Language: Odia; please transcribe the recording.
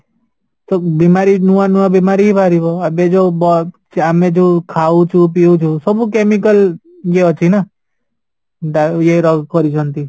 ସବୁ ବେମାରୀ ନୂଆ ନୂଆ ବେମାରୀ ବାହାରିବ ଏବେ ଯୋଉ ଆମେ ଯୋଉ ଖାଉଚୁ ପିଉଚୁ ସବୁ chemical ଇଏ ଅଛି ନା ଡା ଇଏ କରିଛନ୍ତି